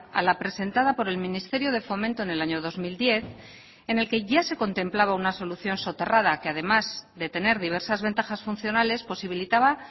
a la presentada por el ministerio de fomento en el año dos mil diez en el que ya se contemplaba una solución soterrada que además de tener diversas ventajas funcionales posibilitaba